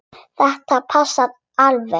Þetta passar alveg.